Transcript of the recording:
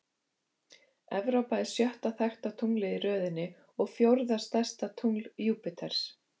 Evrópa er sjötta þekkta tunglið í röðinni og fjórða stærsta tungl Júpíters.